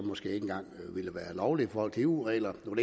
måske ikke engang ville være lovligt i forhold til eu reglerne nu